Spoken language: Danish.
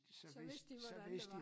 Så vidste de hvordan det var